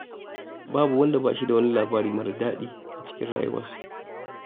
Babu wanda ba shi da wani labari marar daɗi a rayuwarsa.